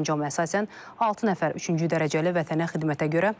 Sərəncama əsasən altı nəfər üçüncü dərəcəli Vətənə xidmətə görə